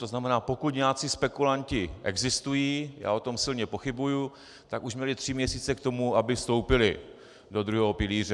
To znamená pokud nějací spekulanti existují, já o tom silně pochybuji, tak už měli tři měsíce k tomu, aby vstoupili do druhého pilíře.